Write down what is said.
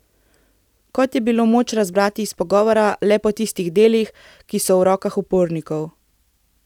Kot je bilo moč razbrati iz pogovora, le po tistih delih, ki so v rokah upornikov.